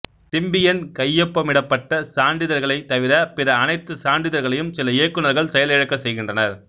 Symbian கையொப்பமிடப்பட்ட சான்றிதழ்களைத் தவிர பிற அனைத்து சான்றிதழ்களையும் சில இயக்குநர்கள் செயல் இழக்கச்செய்கின்றனர்